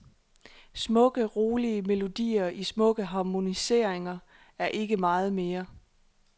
Smukke, rolige melodier i smukke harmoniseringer og ikke meget mere.